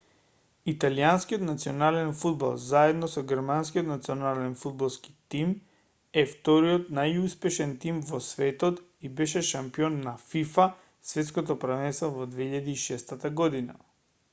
италијанскиот национален фудбал заедно со германскиот национален фудбалски тим е вториот најуспешен тим во светот и беше шампион на фифа светското првенство во 2006 година